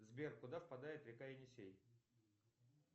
сбер куда впадает река енисей